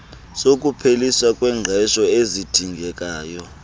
sokupheliswa kwengqesho esidingekayo